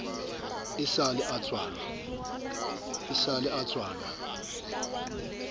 e sa le a tswalwa